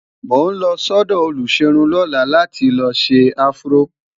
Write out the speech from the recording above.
mọ n ló sọdọ oluserun lọla là tí ló ṣé afro